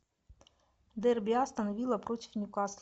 дерби астон вилла против ньюкасл